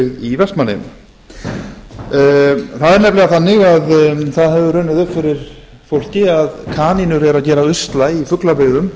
í vestmannaeyjum það er nefnilega þannig að það hefur runnið upp fyrir fólki að kanínur eru að gera usla í fuglabyggðum